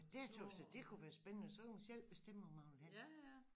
Ja dét tøs jeg det kunne være spændende så kunne man selv bestemme hvor man ville hen